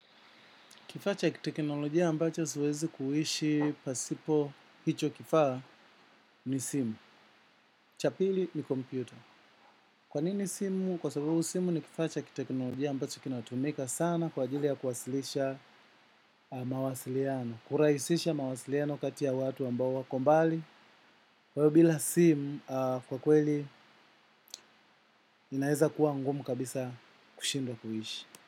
Kifaa cha kiteknolojia ambacho siwezi kuishi pasipo hicho kifaa ni simu, cha pili ni computer. Kwa nini simu? Kwa sababu simu ni kifaa cha kiteknolojia ambacho kinatumika sana kwa ajili ya kuwasilisha mawasiliano. Kurahisisha mawasiliano kati ya watu ambao wako mbali. Kwahiyo bila simu kwa kweli inaeza kuwa ngumu kabisa kushindwa kuishi.